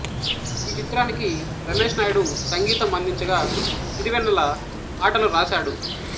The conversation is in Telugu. ఈ చిత్రానికి రమేష్ నాయుడు సంగీతం అందించగా సిరివెన్నల పాటలు రాశాడు